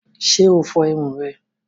Ṣe o fo irun rẹ?